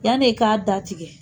Yan ne k'a datigɛ.